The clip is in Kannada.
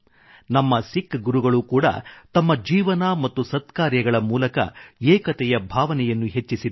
ನಮ್ಮ ಸಿಖ್ ಗುರುಗಳು ಕೂಡಾ ತಮ್ಮ ಜೀವನ ಮತ್ತು ಸತ್ಕಾರ್ಯಗಳ ಮೂಲಕ ಏಕತೆಯ ಭಾವನೆಯನ್ನು ಹೆಚ್ಚಿಸಿದ್ದಾರೆ